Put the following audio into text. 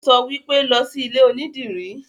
Ó sọ wípé, 'Lọ sí ilé onídìrí'